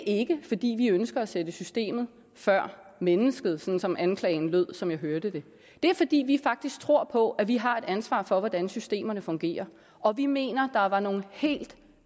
ikke fordi vi ønsker at sætte systemet før mennesket sådan som anklagen lød som jeg hørte det det er fordi vi faktisk tror på at vi har et ansvar for hvordan systemerne fungerer og vi mener at der var nogle helt